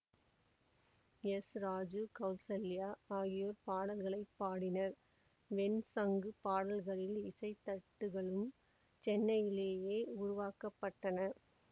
S Raju Kausalya ஆகியோர் பாடல்களை பாடினர் வெண்சங்கு பாடல்களின் இசைத்தட்டுகளும் சென்னையிலேயே உருவாக்க பட்டன